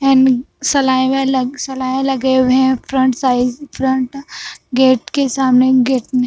and सलाइवा अलग सलाई लगे हुए हैं फ्रंट साइज फ्रंट गेट के सामने गेट में --